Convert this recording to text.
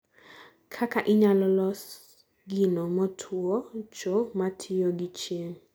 Kaka inyalo los gino matuocho matiyo gi chieng'